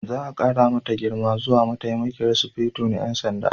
Za a ƙara mata girma zuwa Mataimakiyar Sufeto na 'Yan Sanda.